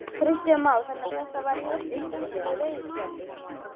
Kristján Már: Þannig að þetta er hörkuskemmtilegur veiðiskapur?